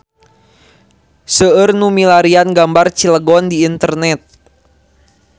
Seueur nu milarian gambar Cilegon di internet